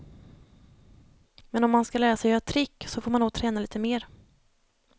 Men om man ska lära sig göra trick så får man nog träna lite mer.